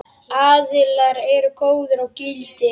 Aðilar eru góðir og gildir.